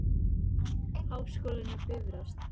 Háskólinn á Bifröst.